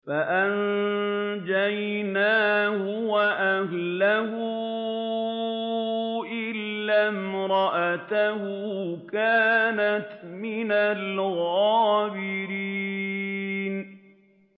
فَأَنجَيْنَاهُ وَأَهْلَهُ إِلَّا امْرَأَتَهُ كَانَتْ مِنَ الْغَابِرِينَ